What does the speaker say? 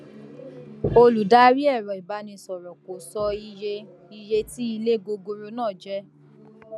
olùdarí ẹrọ ìbánisọrọ kò sọ iye iye tí ilé gogoro náà jẹ